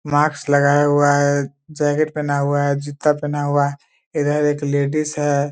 Mask लगाया हुआ है जैकेट पहना हुआ है जूता पहना हुआ है इधर एक लेडीज है ।